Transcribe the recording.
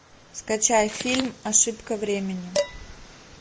скачай фильм ошибка времени